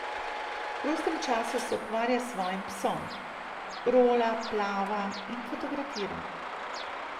V prostem času se ukvarja s svojim psom, rola, plava in fotografira.